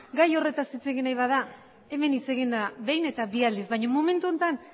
gai horretaz hitz egin nahi bada hemen hitz egin da behin eta bi aldiz baina momentu honetan